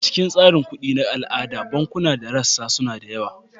A cikin tsarin kuɗi na al'ada, bankunan da rassa suna da yawa.